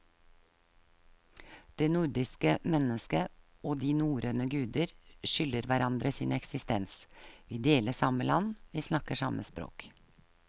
Det nordiske mennesket og de norrøne guder skylder hverandre sin eksistens, vi deler samme land, vi snakker samme språk.